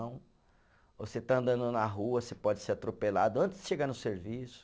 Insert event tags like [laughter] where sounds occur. [unintelligible] Ou você está andando na rua, você pode ser atropelado antes de chegar no serviço.